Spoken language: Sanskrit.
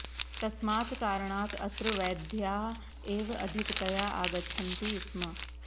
तस्मात् कारणात् अत्र वैद्याः एव अधिकतया आगच्छन्ति स्म